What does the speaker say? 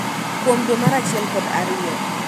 kuom dwe mar achiel kod ariyo.